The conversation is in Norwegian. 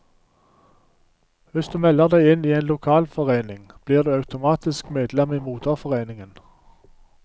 Hvis du melder deg inn i en lokalforening, blir du automatisk medlem i moderforeningen.